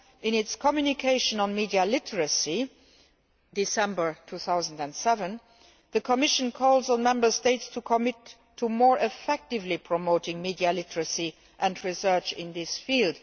In its communication on media literacy of December 2007, the Commission calls on Member States to commit to more effectively promoting media literacy and research in this field.